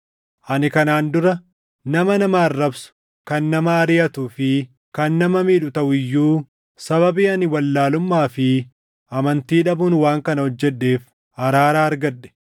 Ani kanaan dura nama nama arrabsu, kan nama ariʼatuu fi kan nama miidhu taʼu iyyuu sababii ani wallaalummaa fi amantii dhabuun waan kana hojjedheef araara argadhe.